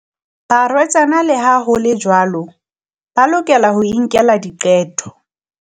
Barwetsana, le ha ho le jwalo, ba lokela ho inkela diqeto.